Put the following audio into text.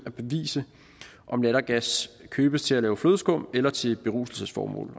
at bevise om lattergas købes til at lave flødeskum med eller til beruselsesformål